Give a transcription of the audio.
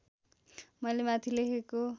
मैले माथि लेखेको